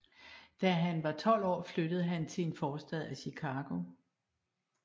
Da han var 12 år flyttede han til en forstad af Chicago